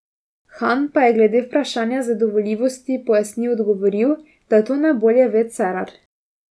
Han pa je glede vprašanja zadovoljivosti pojasnil odgovoril, da to najbolje ve Cerar.